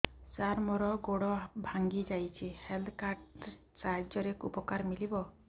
ସାର ମୋର ଗୋଡ଼ ଭାଙ୍ଗି ଯାଇଛି ହେଲ୍ଥ କାର୍ଡ ସାହାଯ୍ୟରେ ଉପକାର ମିଳିବ